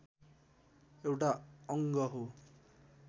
एउटा अङ्ग हो